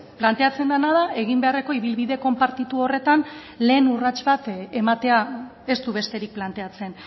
planteatzen dena da egin beharreko ibilbide konpartitu horretan lehen urrats bat ematea ez du besterik planteatzen